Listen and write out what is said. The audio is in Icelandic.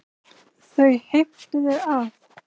Þau heimtuðu að